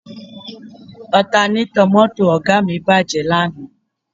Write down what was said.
Ọtanétọ̀ mọ́tò Ọ̀ga mi bàjẹ́ lánàá